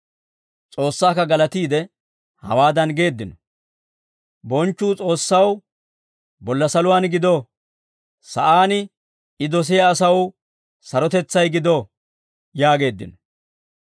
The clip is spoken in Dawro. S'oossaakka galatiide, hawaadan geeddino: «Bonchchuu S'oossaw bolla saluwaan gido. Sa'aan I dosiyaa asaw sarotetsay gido» yaageeddino.